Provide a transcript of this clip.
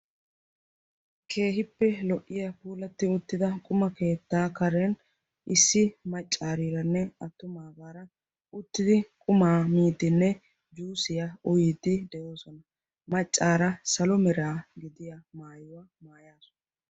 Keehippe lo"iya puulatti uttida quma keettaa karen issi maccaariiranne attumaa baara uttidi qumaa miitinne yuusiyaa uyiiddi de'oosona. maccaara salo meraa gidiya maayuwaa maayaasu.